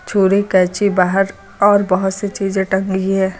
छुरी कैंची बाहर और बहुत सी चीजें टंगी है।